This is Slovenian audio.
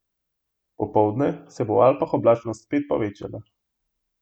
Popoldne se bo v Alpah oblačnost spet povečala.